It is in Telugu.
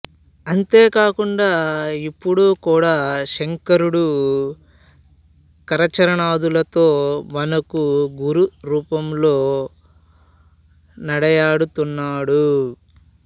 అంతేకాకుండా ఇప్పుడు కూడా శంకరుడు కరచరణాదులతో మనకు గురురూపంలో నడయాడుతున్నాడు